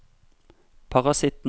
parasitten